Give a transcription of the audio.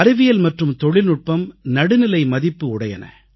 அறிவியல் மற்றும் தொழில்நுட்பம் நடுநிலை மதிப்பு உடையன